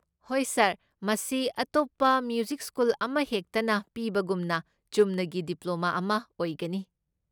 ꯍꯣꯏ, ꯁꯥꯔ, ꯃꯁꯤ ꯑꯇꯣꯞꯄ ꯃ꯭ꯌꯨꯖꯤꯛ ꯁ꯭ꯀꯨꯜ ꯑꯃꯍꯦꯛꯇꯅ ꯄꯤꯕꯒꯨꯝꯅ ꯆꯨꯝꯅꯒꯤ ꯗꯤꯄ꯭ꯂꯣꯃꯥ ꯑꯃ ꯑꯣꯏꯒꯅꯤ꯫